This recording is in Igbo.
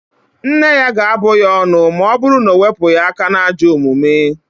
Nne ya ga-abụ ya ọnụ ma ọ bụru na o wepụghị aka n'ajọ omume